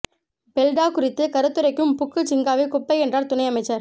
பெல்டா குறித்துக் கருத்துரைக்கும் புக்கு ஜிங்காவைக் குப்பை என்றார் துணை அமைச்சர்